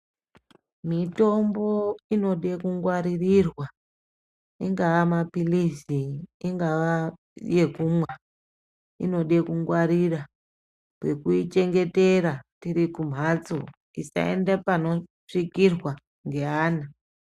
Mitombo inode kungwaririrwa ingava mapirizi ingava yekunwa inoda kungwaririra pekuichengetera tiri kumhatso isaenda panosvikirirwa ngevana.